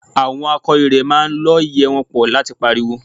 Àwọn akọ ìrẹ̀ máa ń lọ́ ìyẹ́ wọn pọ̀ láti pariwo